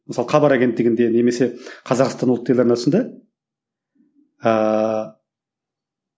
мысалы хабар агенттігінде немесе қазақстан ұлт телеарнасында ыыы